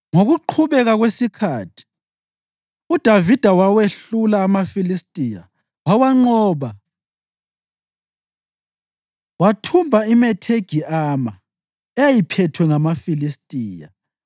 Ngokuqhubeka kwesikhathi uDavida wawehlula amaFilistiya wawanqoba, wathumba iMethegi Ama eyayiphethwe ngamaFilistiya.